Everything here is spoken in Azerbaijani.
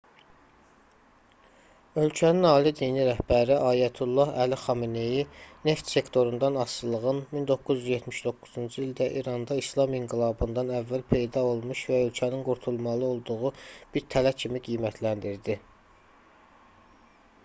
ölkənin ali dini rəhbəri ayətullah əli xamenei neft sektorundan asılılığın 1979-cu ildə i̇randa i̇slam inqilabından əvvəl peyda olmuş və ölkənin qurtulmalı olduğu bir tələ kimi qiymətləndirdi